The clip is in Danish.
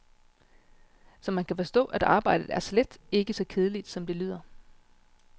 Så man kan forstå, at arbejdet er slet ikke så kedeligt, som det lyder.